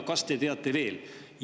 Kas te teate veel?